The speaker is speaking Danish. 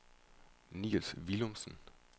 Nils Villumsen